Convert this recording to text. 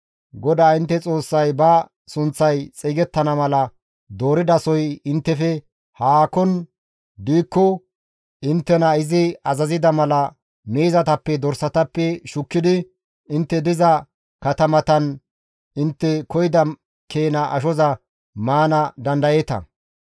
GODAA intte Xoossay ba sunththay xeygettana mala dooridasoy inttefe haakon diikko inttena izi azazida mala miizatappe, dorsatappe shukkidi intte diza katamatan intte koyida keena ashoza maana dandayeeta.